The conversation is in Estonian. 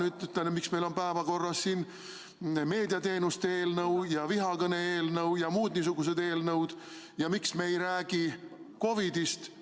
" No ma küsin nüüd, miks meil on siin päevakorras meediateenuste eelnõu ja vihakõne eelnõu ja muud niisugused eelnõud ja miks me ei räägi COVID‑ist.